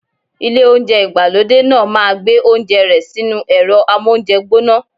Ilé oúnjẹ ìgbàlódé náà ma gbé oúnjẹ rẹ sínú ẹ̀rọ́ amóúnjẹ gbóná.